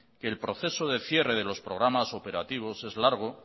que el proceso de cierre de los programas operativos es largo